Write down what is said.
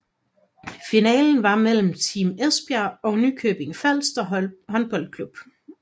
Finalen var mellem Team Esbjerg og Nykøbing Falster Håndboldklub